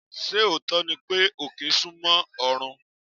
Ṣé òótọ́ ni pé, òkè súnmọ́ ọ̀run?